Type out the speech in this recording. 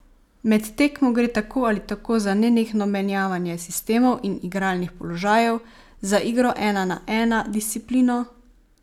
Med tekmo gre tako ali tako za nenehno menjavanje sistemov in igralnih položajev, za igro ena na ena, disciplino ...